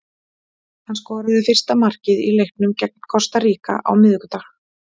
Hann skoraði fyrsta markið í leiknum gegn Kosta Ríka á miðvikudag.